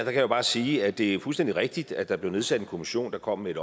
jeg bare sige at det er fuldstændig rigtigt at der blev nedsat en kommission der kom med et